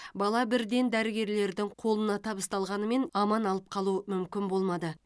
бала бірден дәрігерлердің қолына табысталғанымен аман алып қалу мүмкін болмады